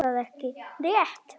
Er það ekki rétt?